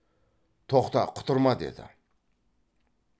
тоқта құтырма деді